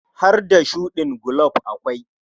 Har da shuɗin gulob akwai.